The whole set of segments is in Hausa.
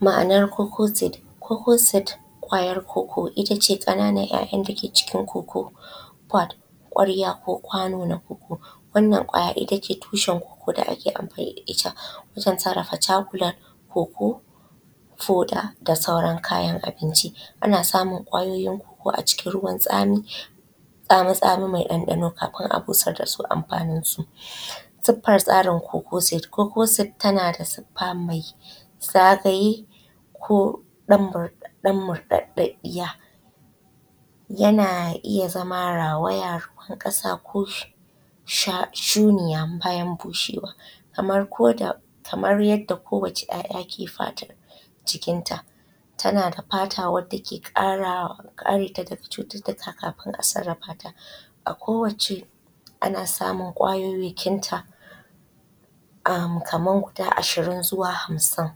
Ma'anar cocoa seed, cocoa seed ƙwayar cocoa itace kananan 'ya'yan dake cikin cocoa pot kwarya ko kwano na cocoa. Wannan ƙwayar ita ce tushin cocoa da ake amfani da ita wajen sarrafa chocolate cocoa foda da sauran kayan abinci. Ana samun ƙwayoyin cocoa a cikin ruwan tsami-tsamitsami mai ɗanɗano kafin a busar da su amfaninsu. Siffan tsarin cocoa seed tana da sifa mai sakaye ko ɗan murɗaɗɗidiya yana iya zama rawaya ruwan kasa ko sha shuniya bayan bushewa, kamar ko da kamar yadda kowacce 'ya'ya ke fatan cikin ta. Tana da fata wadda ke ƙara kareta daga cututtuka kafin a sarrafa ta. A kowacce ana samun ƙwayoyakin ta amam kaman guda ashirin zuwa hamsin.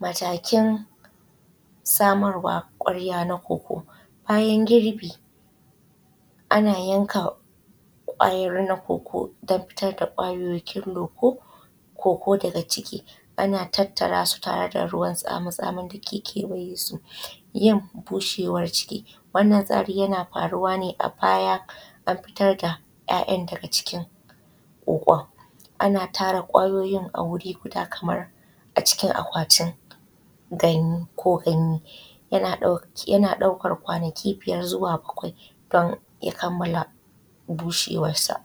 Matakin samarwa kawarya na cocoa, bayan girbi ana yanka ƙwayar na cocoa dan fitar da ƙwayoyakin cocoa daga ciki ana tattara su tare da ruwan tsamitsamin da ke kewaye su. Yan bushewar ciki wannan tsari yana faruwa ne a baya an fitar da ya'yan daga cikin kokon ana tara kwayoyin a wuri guda kamar a cikin akwatin ko ganye. Yana ɗaukar kwanaki biyar zuwa bakwai don ya kammala bushewar sa.